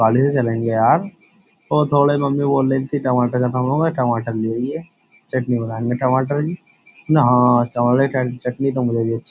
गाड़ी से चलेंगे यार। वो थोड़े मम्मी बोल रही थी टमाटर खत्म हो गये। टमाटर ले अइए। चटनी बनानी है टमाटर की। ना टमाटर की चटनी तो मुझे भी अच्छी --